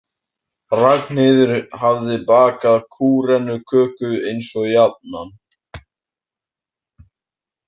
Ragnheiður hafði bakað kúrenuköku eins og jafnan.